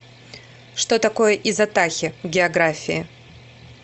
что такое изотахи в географии